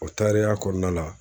kɔnɔna la